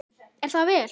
Er það vel!